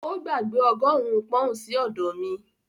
Ó gbàgbé ọgọ́rùn-ún pọ́n-ọ̀n sí ọ̀dọ̀ mi